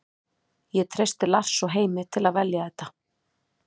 Ég treysti Lars og Heimi til að velja þetta.